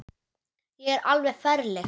Ég er alveg ferleg.